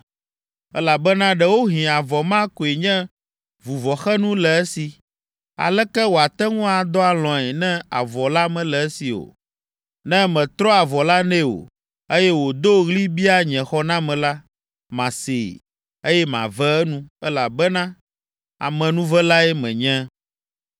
elabena ɖewohĩ avɔ ma koe nye vuvɔxenu le esi. Aleke wòate ŋu adɔ alɔ̃e ne avɔ la mele esi o? Ne mètrɔ avɔ la nɛ o, eye wòdo ɣli bia nye xɔname la, masee, eye mave enu, elabena amenuvelae menye.